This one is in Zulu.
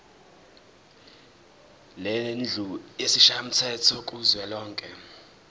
lendlu yesishayamthetho kuzwelonke